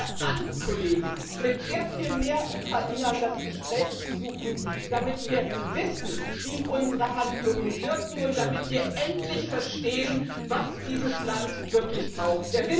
Ich empfehle allen Kollegen, mit sehr viel mehr Ukrainern das Gespräch zu suchen, damit wir wissen, wie unsere Handlungen wirken und damit wir endlich verstehen, was dieses Land wirklich braucht.